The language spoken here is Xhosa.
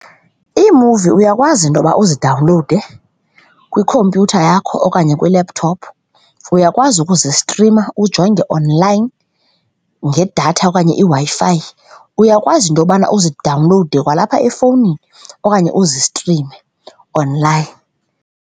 Iimuvi uyakwazi into yokuba uzidawunlowude kwikhompyutha yakho okanye kwi-laptop, uyakwazi ukuzistrima ujonge online ngedatha okanye iWi-Fi, yakwazi into yobana uzidawunlowude kwalapha efowunini okanye uzistrime online.